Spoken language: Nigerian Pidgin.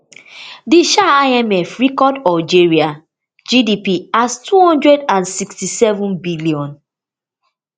di um imf record algeria gdp as two hundred and sixty-seven billion